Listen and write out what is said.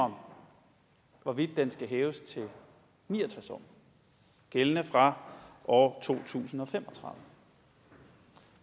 om hvorvidt den skal hæves til ni og tres år gældende fra år to tusind og fem